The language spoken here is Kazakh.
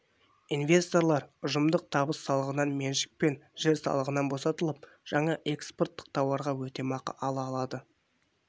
инвесторлар ұжымдық табыс салығынан меншік пен жер салығынан босатылып жаңа экспорттық тауарға өтемақы ала алады